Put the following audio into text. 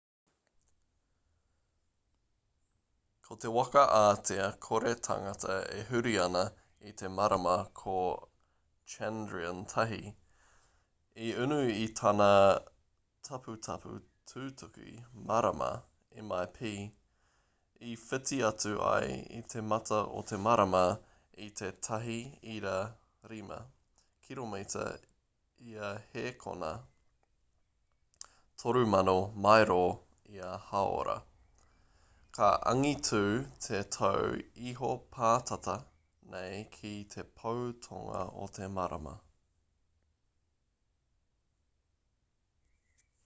ko te waka ātea kore tangata e huri ana i te marama ko chandrayaan-1 i unu i tana taputapu tutuki marama mip i whiti atu ai i te mata o te marama i te 1.5 kiromita ia hēkona 3000 mairo ia hāora ka angitū te tau iho pātata nei ki te pou tonga o te marama